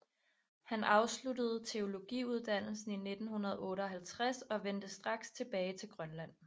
Han afsluttede teologiuddannelsen i 1958 og vendte straks tilbage til Grønland